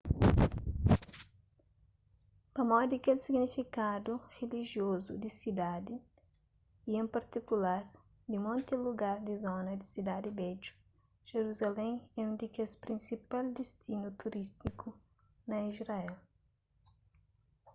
pamodi kel signifikadu rilijiozu di sidadi y en partikular di monti lugar di zona di sidadi bedju jeruzalém é un di kes prinsipal distinu turístiku na israel